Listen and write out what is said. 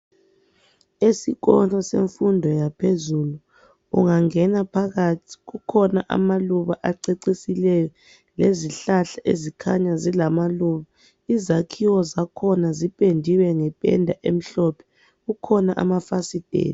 Esikolo semfundo yaphezulu ungangena phakathi kukhona amaluba acecisileyo lezihlahla ezikhanya zilamaluba , izakhiwo zankhona zipendiwe njalo kukhona amafasitela.